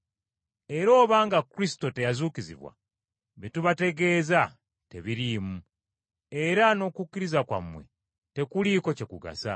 Era obanga Kristo teyazuukizibwa, bye tubategeeza tebiriimu, era n’okukkiriza kwammwe tekuliiko kye kugasa.